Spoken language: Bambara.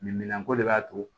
Min minan ko de b'a to